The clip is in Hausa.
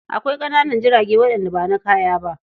Akwai ƙananan jirage waɗanda ba na kaya ba.